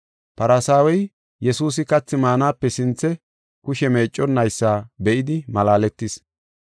Farsaawey Yesuusi kathi maanape sinthe kushe meecconaysa be7idi malaaletis.